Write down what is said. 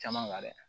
Caman kan dɛ